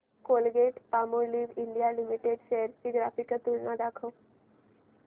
Colgate Palmolive India limited shares ची graphical तुलना दाखव